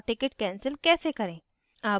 और ticket cancel कैसे करें